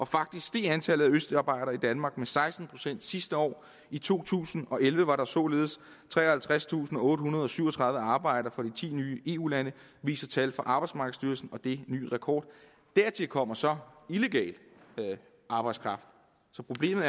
faktisk steg antallet af østarbejdere i danmark med seksten procent sidste år i to tusind og elleve var der således treoghalvtredstusinde og ottehundrede og syvogtredive arbejdere fra de ti nye eu lande viser tal fra arbejdsmarkedsstyrelsen og det er ny rekord dertil kommer så illegal arbejdskraft så problemet